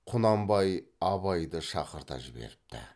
құнанбай абайды шақырта жіберіпті